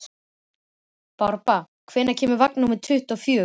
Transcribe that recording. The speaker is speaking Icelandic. Barbára, hvenær kemur vagn númer tuttugu og fjögur?